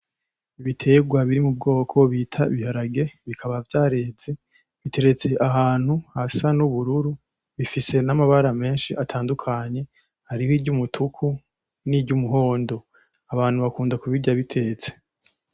Ibitegwa biri mu bwoko bita ibiharage bikaba vyareze biteretse ahantu hasa n'ubururu bifise amabara menshi atandukanye hariho iry'umutuku niry'umuhondo abantu bakunda kubirya bitetse.